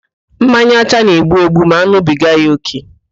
Mmanya ọcha na-egbu egbu ma an̄ụbiga ya ókè